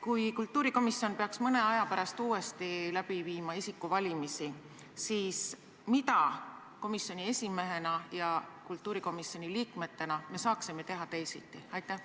Kui kultuurikomisjon peaks mõne aja pärast läbi viima järgmised isikuvalimised, siis mida sina komisjoni esimehena ja meie kultuurikomisjoni liikmetena saaksime teha teisiti?